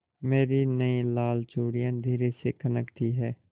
मेरी नयी लाल चूड़ियाँ धीरे से खनकती हैं